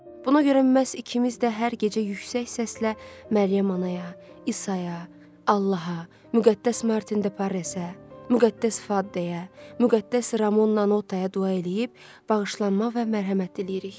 Buna görə məhz ikimiz də hər gecə yüksək səslə Məryəm anaya, İsaya, Allaha, Müqəddəs Martin de Parresə, Müqəddəs Faddeyə, Müqəddəs Ramon Nanotaya dua eləyib bağışlanma və mərhəmət diləyirik.